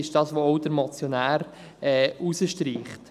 Dies streicht der Motionär auch heraus.